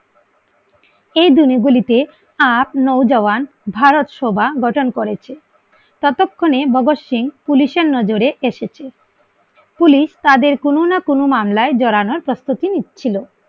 এই দিন গুলিতে সাত নয়জাবান ভারত সভা গঠন করেছে ততক্ষনে ভগৎ সিং পুলিসের নজরে এসেছে পুলিশ তাদের কোনো না কোনো মামলায় জড়ানোর প্রস্তুতি নিচ্ছিল